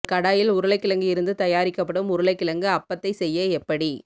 ஒரு கடாயில் உருளைக்கிழங்கு இருந்து தயாரிக்கப்படும் உருளைக்கிழங்கு அப்பத்தை செய்ய எப்படி